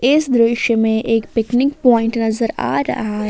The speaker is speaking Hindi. इस दृश्य में एक पिकनिक पॉइंट नजर आ रहा है।